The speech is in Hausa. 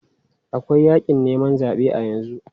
Akwai yakin neman zabe a yanzu.